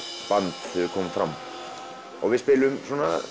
band þegar við komum fram við spilum